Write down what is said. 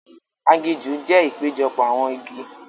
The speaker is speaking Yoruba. Aginjù jẹ ìpéjọpọ̀ awọn igi.